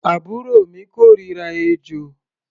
Àbúrò mi kórira ejò.